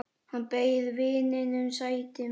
Hann bauð vininum sætið sitt.